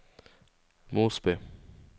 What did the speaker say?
Mosby